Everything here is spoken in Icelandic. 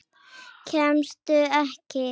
Kemstu ekki?